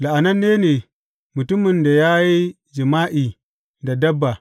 La’ananne ne mutumin da ya yi jima’i da dabba.